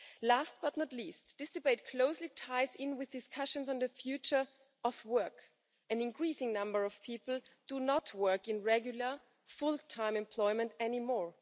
Last but not least, this debate closely ties in with discussions on the future of work. An increasing number of people do not work in regular full time employment any more.